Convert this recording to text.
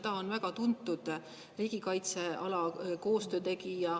Ta on väga tuntud koostöö tegija riigikaitsealal.